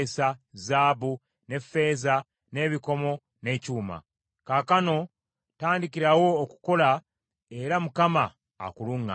zaabu ne ffeeza, n’ebikomo, n’ekyuma. Kaakano tandikirawo okukola era Mukama akuluŋŋamye.”